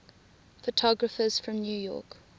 photographers from new york